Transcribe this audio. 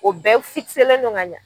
O bɛɛ len don ka ɲɛ.